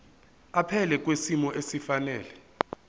aphile kwisimo esifanele